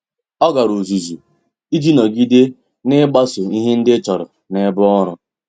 Ọ́ gàrà ọ́zụ́zụ́ iji nọ́gídé n’ị́gbàsò ihe ndị e chọ́rọ́ n’ebe ọ́rụ́.